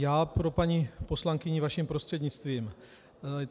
Já pro paní poslankyni, vaším prostřednictvím.